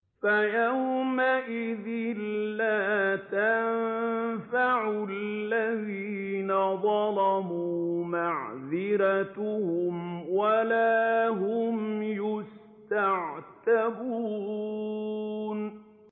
فَيَوْمَئِذٍ لَّا يَنفَعُ الَّذِينَ ظَلَمُوا مَعْذِرَتُهُمْ وَلَا هُمْ يُسْتَعْتَبُونَ